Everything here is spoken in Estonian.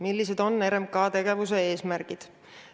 Millised on RMK tegevuse eesmärgid?